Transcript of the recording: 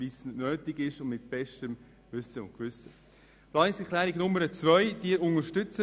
Wir unterstützen die Planungserklärung